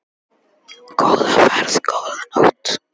Góða ferð, góða nótt.